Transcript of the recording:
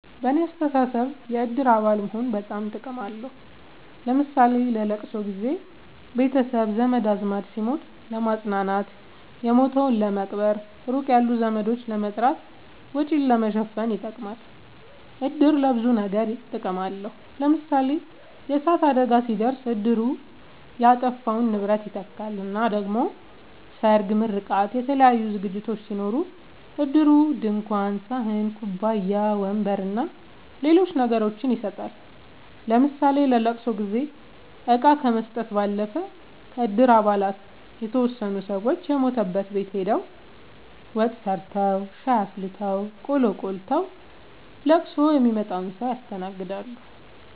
በኔ አስተሳሰብ የእድር አባል መሆን በጣም ጥቅም አለዉ ለምሳሌ ለለቅሶ ጊዘ ቤተሰብ ዘመድአዝማድ ሲሞት ለማጽናናት የሞተዉን ለመቅበር ሩቅ ያሉ ዘመዶችን ለመጥራት ወጪን ለመሸፈን ይጠቅማል። እድር ለብዙ ነገር ጥቅም አለዉ ለምሳሌ የእሳት አደጋ ሲደርስ እድሩ የጠፋውን ንብረት ይተካል እና ደሞ ሰርግ ምርቃት የተለያዩ ዝግጅቶች ሲኖሩ እድሩ ድንኳን ሰሀን ኩባያ ወንበር አና ሌሎች ነገሮችን ይሰጣል ለምሳሌ ለለቅሶ ጊዜ እቃ ከመስጠት ባለፈ ከእድር አባላት የተወሰኑት ሰወች የሞተበት ቤት ሆደው ወጥ ሰርተዉ ሻይ አፍልተው ቆሎ ቆልተዉ ለቅሶ ሚመጣዉን ሰዉ ያስተናግዳሉ።